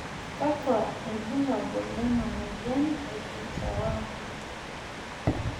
kakua irbulabol lena moyian e DICER1